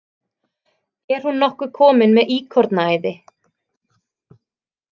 Er hún nokkuð komin með íkornaæði?